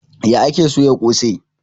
Ya ake soya kose?